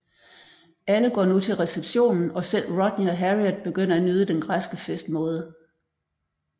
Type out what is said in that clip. Alle går nu til receptionen og selv Rodney og Harriet begynder at nyde den græske festmåde